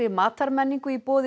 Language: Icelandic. matarmenningu í boði